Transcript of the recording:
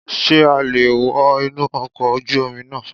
Sé a le è wo inú ọkọ̀ ojú Omi náà